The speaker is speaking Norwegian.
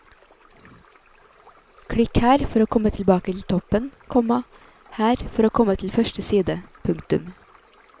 Klikk her for å komme tilbake til toppen, komma her for å komme til første side. punktum